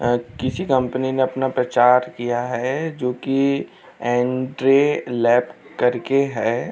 अ किसी कंपनी ने अपना प्रचार किया है जोकि एंद्रे लैब करके है।